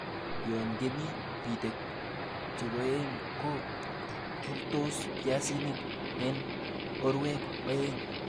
Yon kemin bitek chekoen ko rurtos biasinik en orowek oeng'.